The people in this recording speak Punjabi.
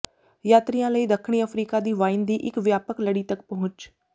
ਯਾਤਰੀਆ ਲਈ ਦੱਖਣੀ ਅਫਰੀਕਾ ਦੀ ਵਾਈਨ ਦੀ ਇੱਕ ਵਿਆਪਕ ਲੜੀ ਤੱਕ ਪਹੁੰਚ